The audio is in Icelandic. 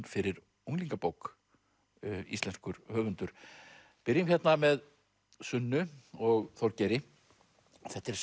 fyrir unglingabók íslenskur höfundur byrjum hérna með Sunnu og Þorgeiri þetta er